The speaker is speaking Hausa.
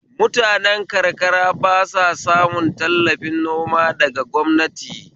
Mutane karakara ba sa samun tallafi noma daga gwamnati